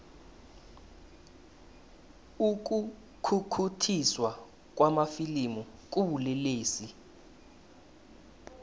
ukukhukhuthiswa kwamafilimu kubulelesi